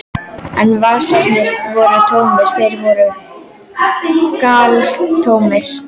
En vasarnir voru tómir, þeir voru galtómir.